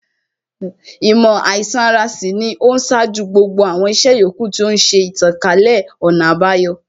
Īmò àīsan ara sì ni ó ṣáájú gbogbo àwọn ìṣe yòókù, tí ó ń ṣe ìtànkálẹ̀ ọ̀nà àbayọ